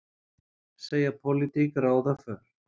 Segja pólitík ráða för